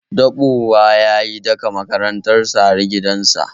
Daɓowa ya yi daka makaranta har gidansa